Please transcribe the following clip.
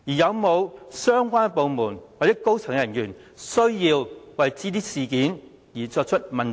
有沒有相關部門或高層人員需要為這些事件問責？